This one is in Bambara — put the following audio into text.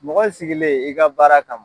Mɔgɔ sigilen i ka baara kama